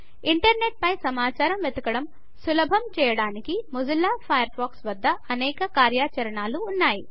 internet పై సమాచారం వెదకడం సులభం చేయడానికి మొజిల్లా ఫయర్ ఫాక్స్ వద్ద అనేక కార్యాచరణాలు ఉన్నయి